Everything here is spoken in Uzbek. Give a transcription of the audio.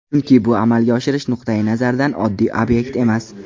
Chunki bu amalga oshirish nuqtai nazaridan oddiy obyekt emas.